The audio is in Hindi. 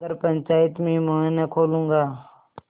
मगर पंचायत में मुँह न खोलूँगा